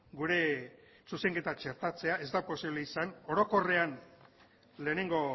gure zuzenketa txertatzea ez da posible izan orokorrean lehenengo